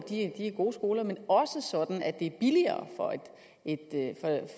gode skoler men det også sådan at det er billigere